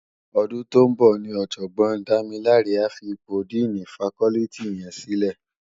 Òdún tó n bò ni òjògbòn Damilare á fi ipó dìní fákòlìtí yèn silè